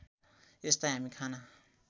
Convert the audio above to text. यसलाई हामी खाना